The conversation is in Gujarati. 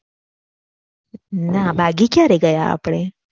ના બાઘી ક્યારે ગયા આપડે